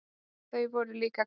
Þau voru líka græn.